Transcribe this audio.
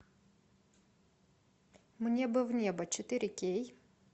мне бы в небо четыре кей